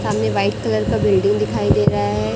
सामने white colour का building दिखाई दे रहा है।